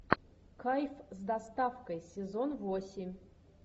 кайф с доставкой сезон восемь